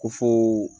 Ko fo